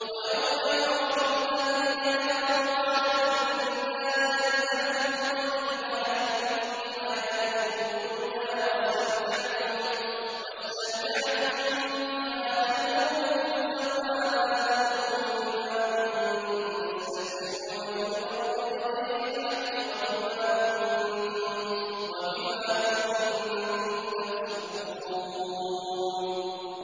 وَيَوْمَ يُعْرَضُ الَّذِينَ كَفَرُوا عَلَى النَّارِ أَذْهَبْتُمْ طَيِّبَاتِكُمْ فِي حَيَاتِكُمُ الدُّنْيَا وَاسْتَمْتَعْتُم بِهَا فَالْيَوْمَ تُجْزَوْنَ عَذَابَ الْهُونِ بِمَا كُنتُمْ تَسْتَكْبِرُونَ فِي الْأَرْضِ بِغَيْرِ الْحَقِّ وَبِمَا كُنتُمْ تَفْسُقُونَ